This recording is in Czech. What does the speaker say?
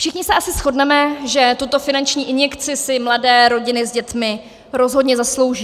Všichni se asi shodneme, že tuto finanční injekci si mladé rodiny s dětmi rozhodně zaslouží.